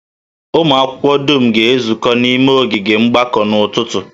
Ụmụ akwụkwọ dum ga-ezukọta n'ime ogige mgbakọ n'ụtụtụ